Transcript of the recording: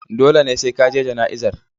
Dole ne sai ka je jana'izar.